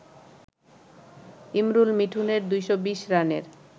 ইমরুল-মিঠুনের ২২০ রানের